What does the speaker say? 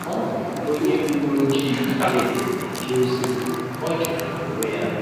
Ọ bụ onye uwe ojii Britain na-eje ozi — ọ jọgburu onwe ya.